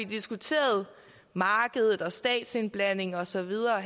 diskuteret markedet og statsindblanding og så videre og